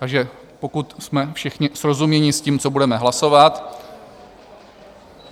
Takže pokud jsme všichni srozuměni s tím, co budeme hlasovat...